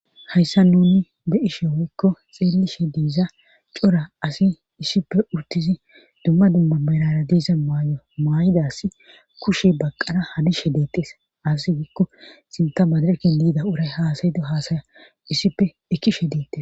hayssa nuni be ishe woykko xeellishe diiza cora asi issippe urtizi dumma dumma merara diiza maay7o maay7idas kushe baqqana hadishe deetees asi giikko sinta madireken liida uray haasayido haasaya issippe ekkishe deette